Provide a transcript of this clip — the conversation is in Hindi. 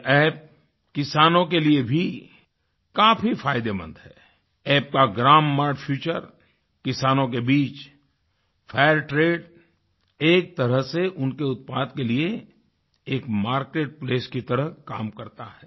यह App किसानों के लिए भी काफी फायदेमंद है App का ग्रामर फीचर किसानों के बीच फैक्ट रते एक तरह से उनके उत्पाद के लिए एक मार्केट प्लेस की तरह काम करता है